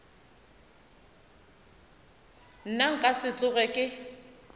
nna nka se tsoge ke